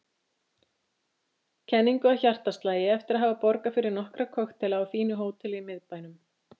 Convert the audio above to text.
kenningu að hjartaslagi eftir að hafa borgað fyrir nokkra kokteila á fínu hóteli í miðbænum.